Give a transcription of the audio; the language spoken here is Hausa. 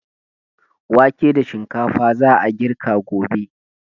Wake da shinkafa za a girka gobe.